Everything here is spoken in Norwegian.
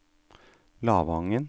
Lavangen